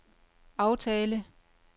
aftale